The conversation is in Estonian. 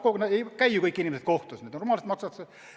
Ei käi kõik inimesed kohtus, isa maksab vabatahtlikult elatisraha.